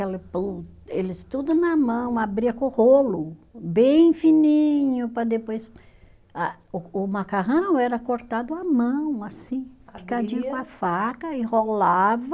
Eles tudo na mão, abria com rolo bem fininho para depois ah, o macarrão era cortado à mão assim, picadinho com a faca, enrolava.